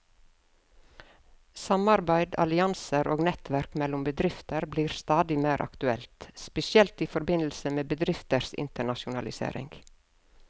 Samarbeid, allianser og nettverk mellom bedrifter blir stadig mer aktuelt, spesielt i forbindelse med bedrifters internasjonalisering.